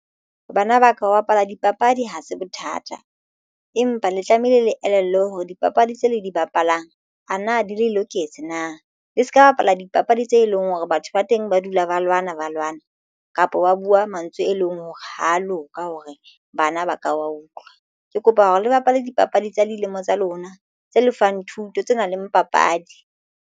Bana ba ka ho bapala dipapadi ha se bothata empa le tlamehile le elellelwe hore dipapadi tse le di bapalang a na di le loketse na le se ka bapala dipapadi tse leng hore batho ba teng ba dula ba ba lwana ba lwana kapo ba buwa mantswe e leng hore ha a loka hore bana ba ka wa utlwa. Ke kopa hore le bapale dipapadi tsa dilemo tsa lona tse lefang thuto tse nang le papadi.